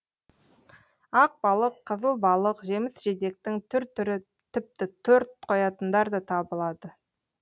ақ балық қызыл балық жеміс жидектің түр түрі тіпті торт қоятындар да табылады